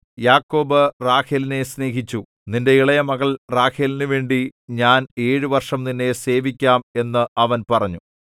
യാക്കോബ് റാഹേലിനെ സ്നേഹിച്ചു നിന്റെ ഇളയമകൾ റാഹേലിനുവേണ്ടി ഞാൻ ഏഴു വർഷം നിന്നെ സേവിക്കാം എന്ന് അവൻ പറഞ്ഞു